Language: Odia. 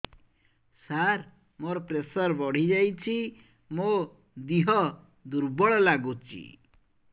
ସାର ମୋର ପ୍ରେସର ବଢ଼ିଯାଇଛି ମୋ ଦିହ ଦୁର୍ବଳ ଲାଗୁଚି